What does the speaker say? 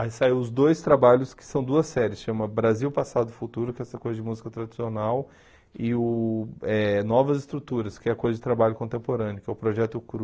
Aí saiu os dois trabalhos que são duas séries, chama Brasil, Passado e Futuro, que é essa coisa de música tradicional, e uh eh Novas Estruturas, que é a coisa de trabalho contemporâneo, que é o Projeto Cru.